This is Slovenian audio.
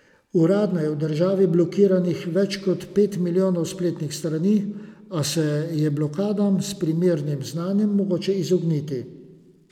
Uradno je v državi blokiranih več kot pet milijonov spletnih strani, a se je blokadam s primernim znanjem mogoče izogniti.